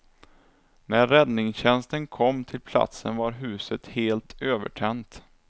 När räddningstjänsten kom till platsen var huset helt övertänt.